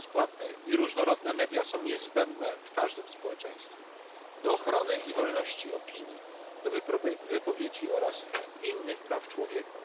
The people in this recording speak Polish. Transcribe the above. Bezpłatne i różnorodne media są niezbędne w każdym społeczeństwie do ochrony wolności opinii, prawa wypowiedzi oraz innych praw człowieka.